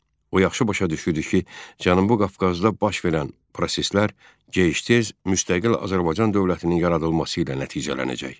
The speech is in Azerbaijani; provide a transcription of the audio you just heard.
O yaxşı başa düşürdü ki, Cənubi Qafqazda baş verən proseslər gec-tez müstəqil Azərbaycan dövlətinin yaradılması ilə nəticələnəcək.